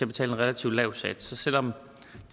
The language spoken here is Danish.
betale en relativt lav sats så selv om